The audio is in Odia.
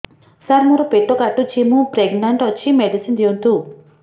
ସାର ମୋର ପେଟ କାଟୁଚି ମୁ ପ୍ରେଗନାଂଟ ଅଛି ମେଡିସିନ ଦିଅନ୍ତୁ